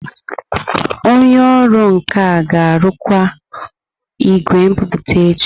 Onye ọrụ nka ga-arụkwa igwe nbipute echi.